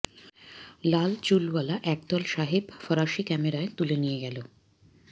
লাল চুলওয়ালা একদল সাহেব ফরাসি ক্যামেরায় তুলে নিয়ে গেল